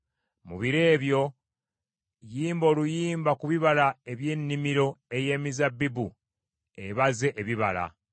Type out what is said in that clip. Mu biro ebyo “Yimba oluyimba ku bibala eby’ennimiro ey’emizabbibu ebaze ebibala.